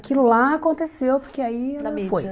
Aquilo lá aconteceu, porque aí... Na mídia. Foi